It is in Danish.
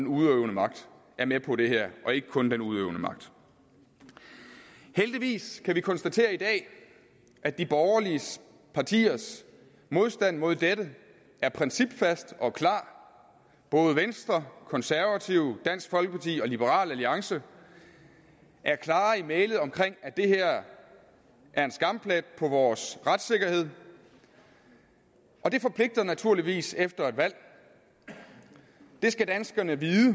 udøvende magt er med på det her og ikke kun den udøvende magt heldigvis kan vi konstatere i dag at de borgerlige partiers modstand mod dette er principfast og klar både venstre konservative dansk folkeparti og liberal alliance er klare i mælet om at det her er en skamplet på vores retssikkerhed og det forpligter naturligvis efter et valg det skal danskerne vide